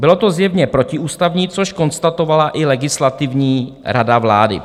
Bylo to zjevně protiústavní, což konstatovala i Legislativní rada vlády.